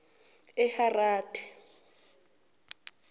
eharade